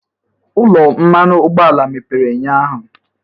Ụlọ mmanụ ụgbọala mepere ụnyahụ?